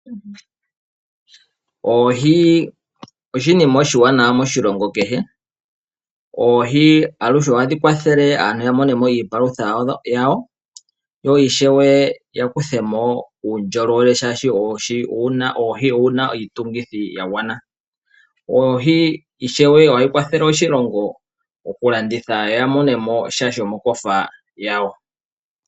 Oohi oshinima oshiwanawa moshilongo kehe. Oohi aluhe ohadhi kwathele aantu yamonemo iipalutha yawo, yo ishewe yakuthemo uundjolowele oshoka oohi odhina iitungithi yagwana. Oohi ishewe ohadhi kwathele oshilongo okulanditha opo yamonemo sha shomokofa yawo.